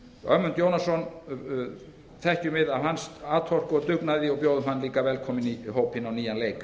ögmund jónasson þekkjum við af atorku hans og dugnaði og bjóðum hann líka velkominn í hópinn á nýjan leik